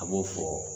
A b'o fɔ